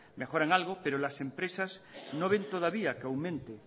mejoran algo pero las empresas no ven todavía que aumenten